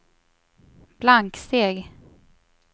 blanksteg